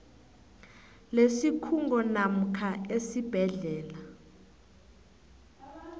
lesikhungo namkha esibhedlela